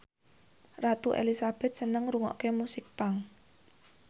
Ratu Elizabeth seneng ngrungokne musik punk